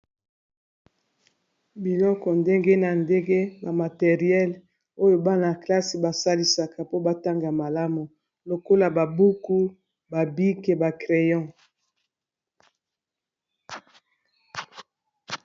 Biloko ndenge na ndenge ba materiele oyo bana-klasse basalisaka po batanga malamu lokola ba buku, ba bike ba crayon.